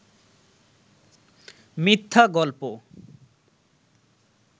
মিথ্যা গল্প